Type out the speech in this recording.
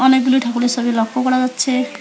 অনেকগুলোই ঠাকুরের সবি লক্ষ্য করা যাচ্ছে।